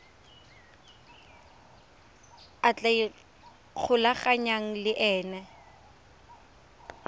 a tla ikgolaganyang le ena